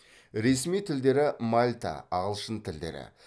ресми тілдері мальта ағылшын тілдері